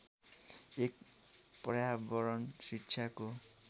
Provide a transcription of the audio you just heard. एक पर्यावरण शिक्षाको